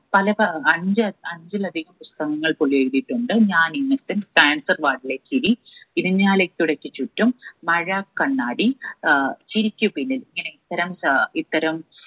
പല പ ഏർ അഞ്ച്‌ അഞ്ചിലധികം പുസ്തകങ്ങൾ പുള്ളി എഴുതീട്ടുണ്ട് ഞാൻ ഇന്നസെന്റ് cancer ward ലെ ചിരി ഇരിഞ്ഞാലക്കുടക്ക് ചുറ്റും മഴ കണ്ണാടി ഏർ ചിരിക്കു പിന്നിൽ ഇങ്ങനെ ഇത്തരം ഏർ ഇത്തരം